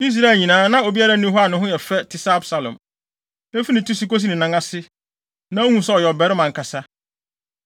Israel nyinaa, na obiara nni hɔ a ne ho yɛ fɛ, te sɛ Absalom. Efi ne ti so kosi ne nan ase, na wuhu sɛ ɔyɛ ɔbarima ankasa.